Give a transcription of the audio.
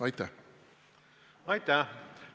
Aitäh!